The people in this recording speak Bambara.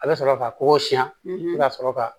A bɛ sɔrɔ ka kɔgɔ siyɛn ka sɔrɔ ka